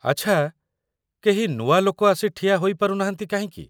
ଆଚ୍ଛା, କେହି ନୂଆ ଲୋକ ଆସି ଠିଆ ହୋଇପାରୁନାହାନ୍ତି କାହିଁକି?